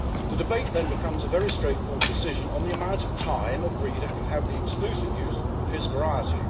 The debate then becomes a very straightforward decision on the amount of time a breeder can have the exclusive use of his variety.